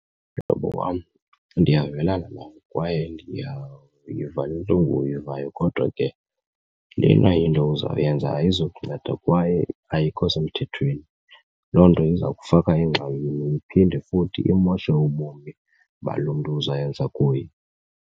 Mhlobo wam, ndiyavelana nawe kwaye ndiyayiva ntlungu uyivayo kodwa ke lena into uzawuyenza ayizukunceda kwaye ayikho semthethweni. Loo nto iza kufaka engxakini iphinde futhi imoshe ubomi balo mntu uzayenza kuye.